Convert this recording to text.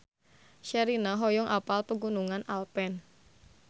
Sherina hoyong apal Pegunungan Alpen